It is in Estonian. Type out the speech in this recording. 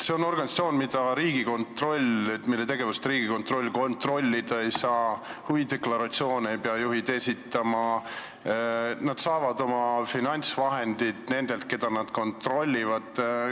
See on organisatsioon, mille tegevust Riigikontroll kontrollida ei saa, huvide deklaratsioone ei pea juhid esitama ning nad saavad oma finantsvahendid nendelt, keda nad kontrollivad.